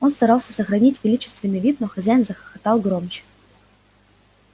он старался сохранить величественный вид но хозяин захохотал громче